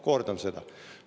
Kordan seda.